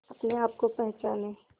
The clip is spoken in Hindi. अपने आप को पहचाने